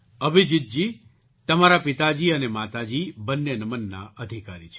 અભિજીતજી તમારા પિતાજી અને માતાજી બંને નમનના અધિકારી છે